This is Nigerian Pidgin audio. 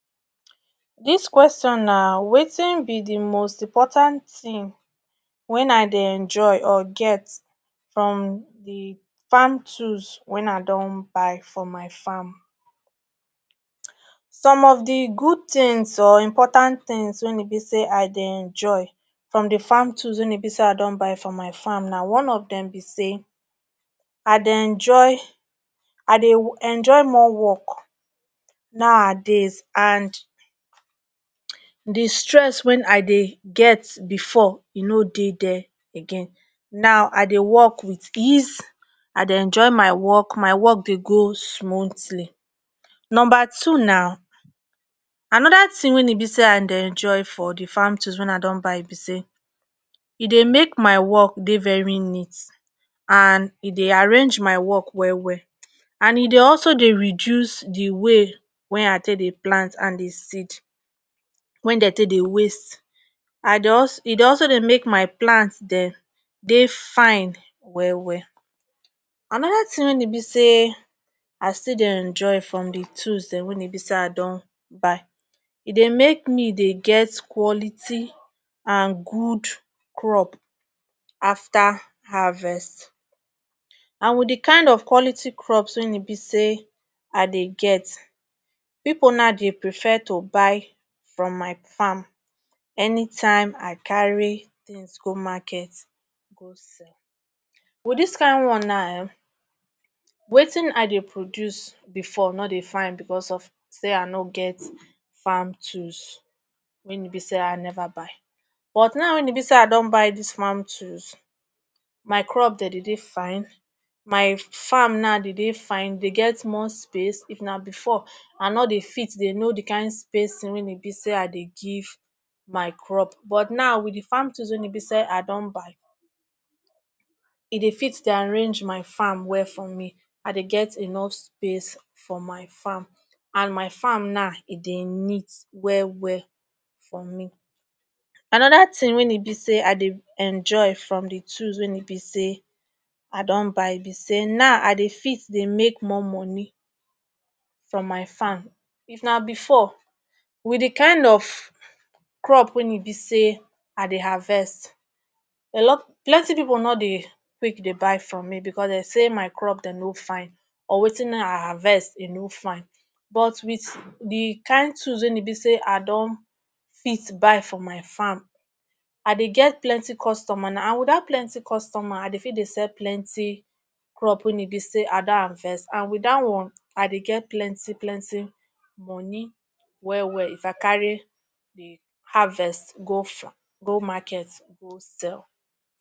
dis question na wetin be di most important tin wen i dey enjoy or get from di farm tools wen i don buy for my farm some of di good thins or important things wen e be say i dey enjoy from di farm tools wen e be say i don buy for my farm na one of dem be say i de enjoy I dey wu enjoy more work nowadays and the stress when I dey get before e no dey there again now I dey work with ease I dey enjoy my work my work dey go smoothly number 2 now anoda thin wey e be say I dey enjoy from the farm tools wen i don buy be say e dey make my work dey very neat and e dey arrange my work well well and e dey also dey reduce the way wey I take dey plant and dey seed wen de take dey waste I dey als e dey also dey make my plant den dey fine well well anoda thin wen e be say i still dey enjoy from the tools den wen e be say i don buy e dey make me dey get quality and good crop after harvest and with the kind of quality crops wen e be say i dey get pipu now dey prefer to buy from my farm anytime I carry things go market go sell with this kind one now um wetin I dey produce before nor dey fine because of say I nor get farm tools wen e be say i never buy but now wen e be say i don buy this farm tools my crop den dey dey fine my fine now dey dey fine dey get more space if na before i nor dey fit dey no the kind spacing wen e be say i dey give my crop but now with the farm tools wen e be say i don buy e dey fit dey arrange my farm well for me I dey get enough space for my farm and my farm na e dey neat well well for me another thin wen e be say i dey enjoy from the tools wen e be say i don buy be say na I dey fit dey make more moni from my farm if na before with the kind of crop wen e be say i dey harvest a lot plenty pipu nor dey quick dey buy from me because dey say my crop den no fine or wetin I harvest e no fine but with the kind tools wen e be say i don fit buy for my farm I dey get plenty customer na and with that plenty customer I dey feel dey sell plenty crop wey e be say i don harvest and with that one I dey get plenty plenty moni well well if I carry the harvest go fa go market go sell